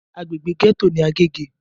Agbègbè gẹ́tò ní Agége.